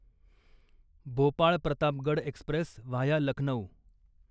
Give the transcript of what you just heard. Bhopal Pratapgarh express via Lucknow